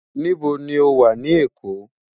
Nibó ni ó wá ni Ekó?